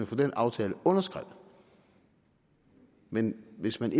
få den aftale underskrevet men hvis man